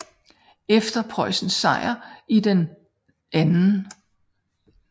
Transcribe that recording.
Efter Preussens sejr i den 2